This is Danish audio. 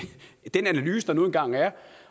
den analyse der nu engang er